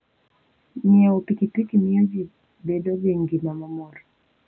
Ng'iewo pikipiki miyo ji bedo gi ngima mamor.